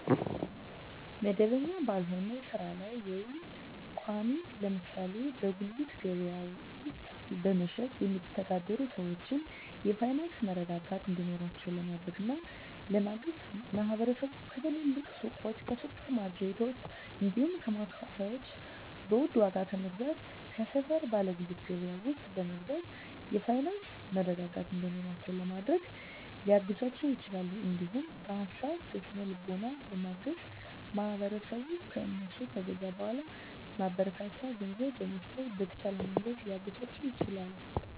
መደበኛ ባልሆነ ስራ ላይ ወይም ቋሚ (ለምሳሌ በጉሊት ገበያ ውስጥ በመሸጥ የሚተዳደሩ ሰዎችን የፋይናንስ መረጋጋት እንዲኖራቸው ለማድረግና ለማገዝ ማህበረሰቡ ከትልልቅ ሱቆች፣ ከሱፐር ማርኬቶች፣ እንዲሁም ከማከፋፈያዎች በውድ ዋጋ ከመግዛት ከሰፈር ባለ ጉሊት ገበያ ውስጥ በመግዛት የፋይናንስ መረጋጋት እንዲኖራቸው ለማድረግ ሊያግዛቸው ይችላል። እንዲሁም በሀሳብ በስነ ልቦና በማገዝ ማህበረሰቡ ከእነሱ ከገዛ በኃላ ማበረታቻ ገንዘብ በመስጠት በተሻለ መንገድ ሊያግዛቸው ይችላል።